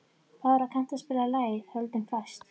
Bára, kanntu að spila lagið „Höldum fast“?